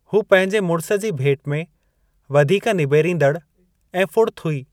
हू पंहिंजे मुड़िस जी भेट में वधीक निबेरींदड़ ऐं फुड़त हुई।